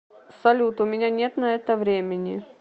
салют у меня нет на это времени